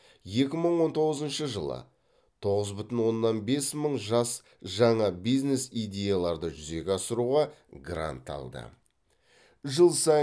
екі мың он тоғызыншы жылы тоғыз бүтін оннан бес мың жас жаңа бизнес идеяларды жүзеге асыруға грант алды